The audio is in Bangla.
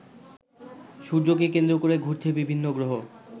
সূর্যকে কেন্দ্র করে ঘুরছে বিভিন্ন গ্রহ।